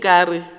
ke eng o ka re